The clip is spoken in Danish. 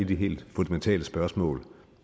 de helt fundamentale spørgsmål